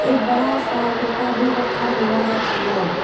बड़ा सा भी रखा हुआ अंदर।